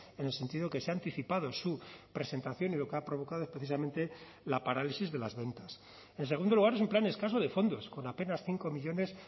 en el sentido que se ha anticipado su presentación y lo que ha provocado es precisamente la parálisis de las ventas en segundo lugar es un plan escaso de fondos con apenas cinco millónes